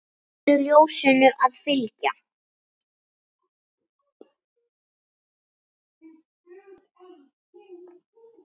Mundu ljósinu að fylgja.